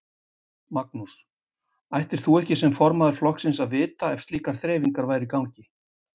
Magnús: Ættir þú ekki sem formaður flokksins að vita ef slíkar þreifingar væru í gangi?